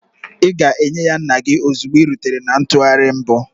Ị ga-enye ya nna gị ozugbo ị rutere na ntụgharị mbụ.